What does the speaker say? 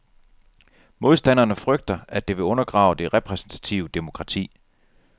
Modstanderne frygter, at det vil undergrave det repræsentative demokrati.